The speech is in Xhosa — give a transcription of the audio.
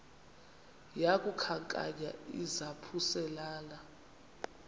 yaku khankanya izaphuselana